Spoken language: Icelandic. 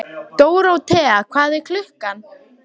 Dóróthea, hvað er klukkan?